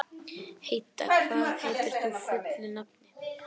Heida, hvað heitir þú fullu nafni?